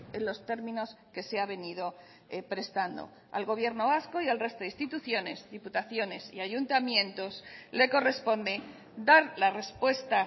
en los términos que se ha venido prestando al gobierno vasco y al resto de instituciones diputaciones y ayuntamientos le corresponde dar la respuesta